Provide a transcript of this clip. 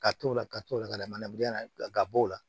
Ka t'o la ka t'o la ka na manabila ga bo la